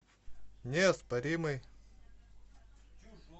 неоспоримый